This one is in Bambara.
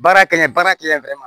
Baara kɛ baara kɛ